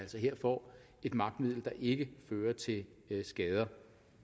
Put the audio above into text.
her får et magtmiddel der ikke fører til skader